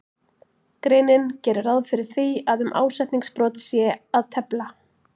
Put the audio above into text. greinin gerir ráð fyrir því að um ásetningsbrot sé að tefla.